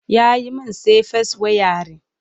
Ya yi min safes wayarin.